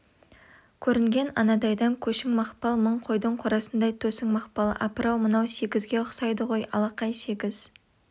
көрінген анадайдан көшің мақпал мың қойдың қорасындай төсің мақпал апыр-ау мынау сегізге ұқсайды ғой алақай сегіз